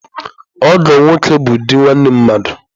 Ọgọ nwoke bụ di nwanne mmadụ.